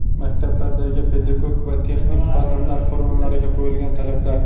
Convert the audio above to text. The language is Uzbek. Maktablardagi pedagog va texnik xodimlar formalariga qo‘yilgan talablar.